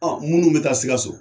Minnu mɛ taa Sikaso